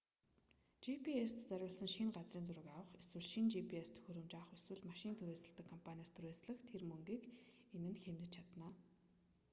gps-т зориулан шинэ газрын зураг авах эсвэл шинэ gps төхөөрөмж авах эсвэл машин түрээсэлдэг компаниас түрээслэх тэр мөнгийг энэ нь хэмнэж чадна